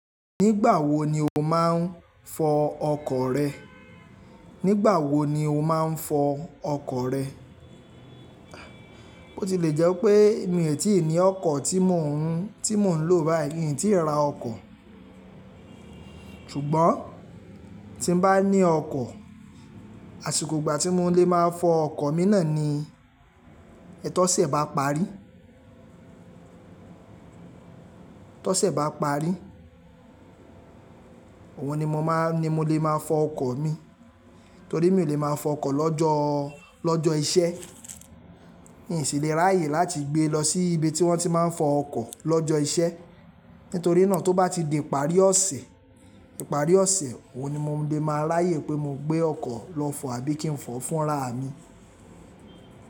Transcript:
Nígbà wo ni o máa ń fọ ọkọ̀ rẹ? Nígbà wo ni o máa ń fọ ọkọ̀ rẹ? Bó ti lè jẹ́ pé mio tí ní ọkọ̀ tí mò ń lò báyìí, mi tí ra ọkọ̀. Ṣùgbọ́n tí n bá ní ọkọ̀, àsìkò ìgbà tí mò n lè máa fọ ọkọ̀ mi náà ni, ètò ọ̀sẹ̀ bá parí. To ọ̀sẹ̀ bá parí, òun ni mo máa, ni mo lè máa fọ ọkọ̀ mi, torí mi ò lè máa fọ ọkọ̀ lọ́jọ́, lọ́jọ́ iṣẹ́. Mi sì le ráyè láti gbé lọ sí ibi tí wọ́n ti máa ń fọ ọkọ̀ lọ́jọ́ iṣẹ́. Nítorí náà tó bá ti di ìparí ọ̀sẹ̀, ìparí ọ̀sẹ̀, òun ni mò n lè máa ráyè pé mo gbé ọkọ̀ lọ fọ àbí kí n fọ fúnra mi.